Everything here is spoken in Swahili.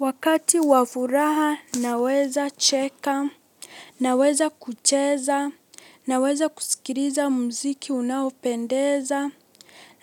Wakati wa furaha naweza cheka, naweza kucheza, naweza kusikiliza mziki unaopendeza,